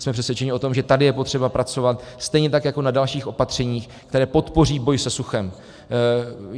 Jsme přesvědčeni o tom, že tady je potřeba pracovat, stejně tak jako na dalších opatřeních, která podpoří boj se suchem.